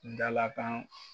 Dalakan